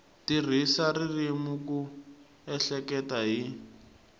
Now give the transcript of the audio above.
tirhisa ririmi ku ehleketa hi